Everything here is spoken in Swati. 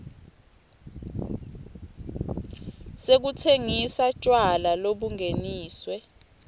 sekutsengisa tjwala lobungeniswe